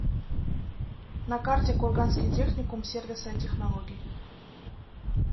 на карте курганский техникум сервиса и технологий